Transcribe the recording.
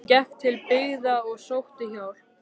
Hann gekk til byggða og sótti hjálp.